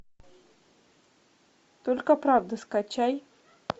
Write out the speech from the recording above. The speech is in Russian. только правда скачай